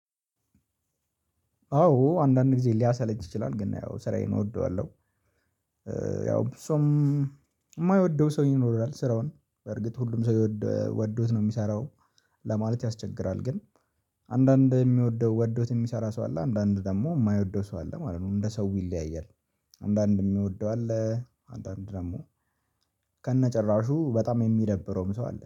አዎ አንዳንድ ጊዜ ሊያሰለች ይችላል ግን ያው ስራዬን እወደዋለሁ ያው ሰው የማይወደው ሰው ይኖራል ስራውን በርግጥ ሁሉም ሰው ወዶት ነው የሚሰራው ለማለት ያስቸግራል ግን አንዳንድ የሚወደው ወዶት የሚሰራ ሰው አለ አንዳንድ ደግሞ የማይወደው ሰው አለ ማለት ነው እንደ ሰው ይለያያል። አንዳንድ የሚወደው አለ አንዳንድ ደግሞ ከነጭራሹ በጣም የሚደብረውም ሰው አለ